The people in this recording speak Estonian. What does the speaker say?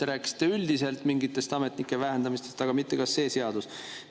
Te rääkisite üldiselt mingist ametnike vähendamisest, aga mitte sellest, kas see seadus.